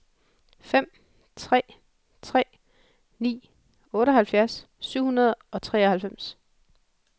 fem tre tre ni otteoghalvfjerds syv hundrede og treoghalvfems